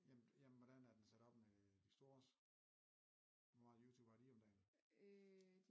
Jamen hvordan er den sat op med de stores hvor meget Youtube har de om dagen?